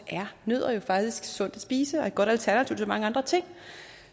er nødder faktisk sundt at spise og et godt alternativ til mange andre ting